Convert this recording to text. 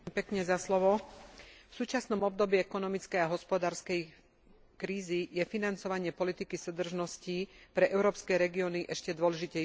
V súčasnom období ekonomickej a hospodárskej krízy je financovanie politiky súdržností pre európske regióny ešte dôležitejšie.